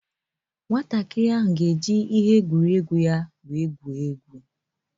Nwantakịrị ahụ ga-eji tọị ya wee gwurịe egwu.